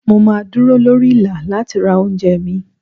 Mo máa dúró lórí Ìlà láti ra oúnjẹ mi.